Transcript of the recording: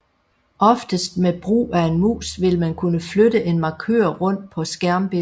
Oftest med brug af en mus vil man kunne flytte en markør rundt på skærmbilledet